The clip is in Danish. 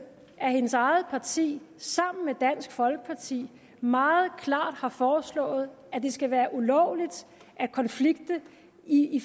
at hendes eget parti sammen med dansk folkeparti meget klart har foreslået at det skal være ulovligt at konflikte i